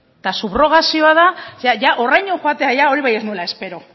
eta horraino joatea hori bai ez nuela espero